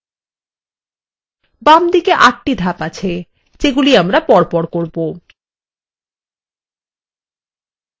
বামদিকে ৮ টি ধাপ আছে যেগুলি আমরা পরপর করব